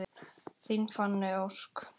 Þín Fanney Ósk.